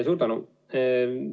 Suur tänu!